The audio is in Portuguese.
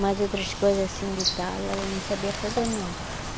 Mas outras coisas assim de tala, ela não sabia fazer, não.